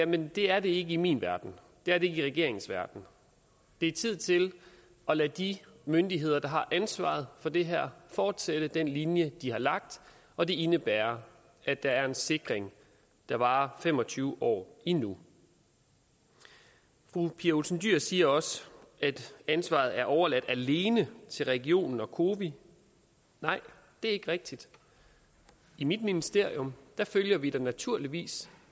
men det er det ikke i min verden det er det i regeringens verden det er tid til at lade de myndigheder der har ansvaret for det her fortsætte den linje de har lagt og det indebærer at der er en sikring der varer fem og tyve år endnu fru pia olsen dyhr siger også at ansvaret er overladt alene til regionen og cowi nej det ikke rigtigt i mit ministerium følger vi da naturligvis